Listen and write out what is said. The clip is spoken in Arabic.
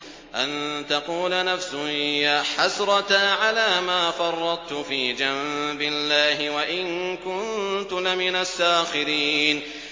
أَن تَقُولَ نَفْسٌ يَا حَسْرَتَا عَلَىٰ مَا فَرَّطتُ فِي جَنبِ اللَّهِ وَإِن كُنتُ لَمِنَ السَّاخِرِينَ